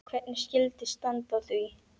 Hvernig skyldi standa á því?